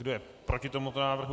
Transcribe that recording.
Kdo je proti tomuto návrhu?